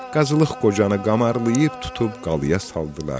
Qazılıq Qocanı qamarlayıb tutub qalaya saldılar.